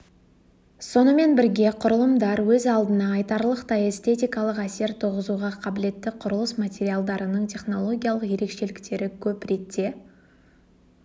сонымен бірге құрылымдар өз алдына айтарлықтай эстетикалық әсер туғызуға қабілетті құрылыс материалдарының технологиялық ерекшеліктері көп ретте